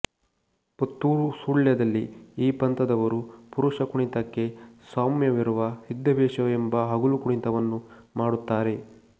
ಪುತ್ತೂರು ಸುಳ್ಯದಲ್ಲಿ ಈ ಪಂಥದವರು ಪುರುಷ ಕುಣಿತಕ್ಕೆ ಸಾಮ್ಯವಿರುವ ಸಿದ್ದವೇಷ ಎಂಬ ಹಗಲು ಕುಣಿತವನ್ನು ಮಾಡುತ್ತಾರೆ